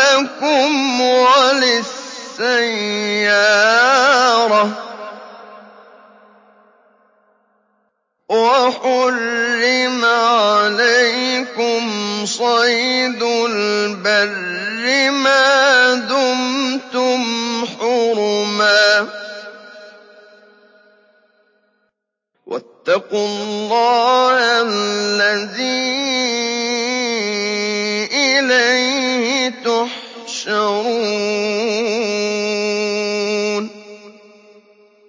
لَّكُمْ وَلِلسَّيَّارَةِ ۖ وَحُرِّمَ عَلَيْكُمْ صَيْدُ الْبَرِّ مَا دُمْتُمْ حُرُمًا ۗ وَاتَّقُوا اللَّهَ الَّذِي إِلَيْهِ تُحْشَرُونَ